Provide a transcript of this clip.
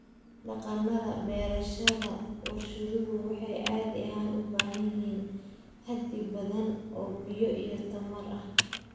Dhaqannada beerashada warshaduhu waxay caadi ahaan u baahan yihiin xaddi badan oo biyo iyo tamar ah.